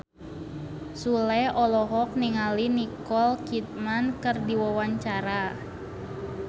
Sule olohok ningali Nicole Kidman keur diwawancara